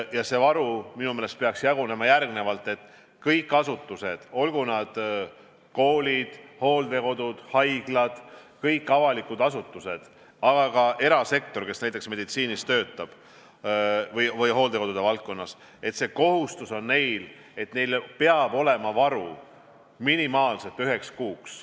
Ja see varu peaks jagunema nii, et kõigis avalikes asutustes, olgu nad koolid, hooldekodud või haiglad, aga ka erasektoris, kui tegu on meditsiiniga või hooldekodude valdkonnaga, peab olema varu minimaalselt üheks kuuks.